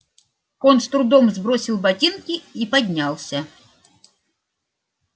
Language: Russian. он с трудом сбросил ботинки и поднялся